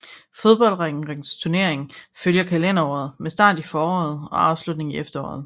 Fodboldrækkens turnering følger kalenderåret med start i foråret og afslutning i efteråret